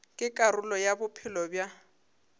ke karolo ya bophelo bja